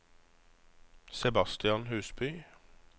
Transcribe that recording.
Sebastian Husby